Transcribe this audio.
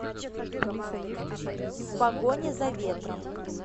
в погоне за ветром